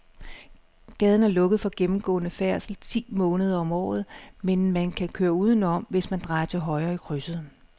Gaden er lukket for gennemgående færdsel ti måneder om året, men man kan køre udenom, hvis man drejer til højre i krydset.